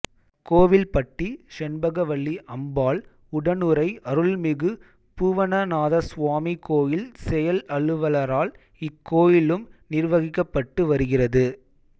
கோவில்பட்டி செண்பகவல்லி அம்பாள் உடனுறை அருள்மிகு பூவனநாதசுவாமி கோயில் செயல்அலுவலரால் இக்கோயிலும் நிர்வகிக்கப்பட்டு வருகிறது